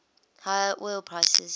higher oil prices